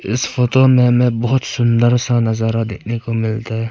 इस फोटो में हमें बहुत सुंदर सा नजारा देखने को मिलता है।